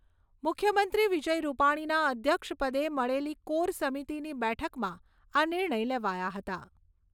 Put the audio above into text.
મુખ્યમંત્રી વિજય રૂપાણીના અધ્યક્ષપદે મળેલી કોર સમિતીની બેઠકમાં આ નિર્ણય લેવાયા હતા.